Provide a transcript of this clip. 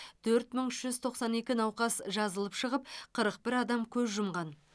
төрт мың үш жүз тоқсан екі науқас жазылып шығып қырық бір адам көз жұмған